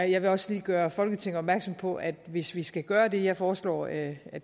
jeg vil også lige gøre folketinget opmærksom på at hvis vi skal gøre det jeg foreslår at